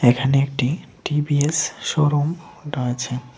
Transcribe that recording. এখানে একটি TVS showroom একটা আছে।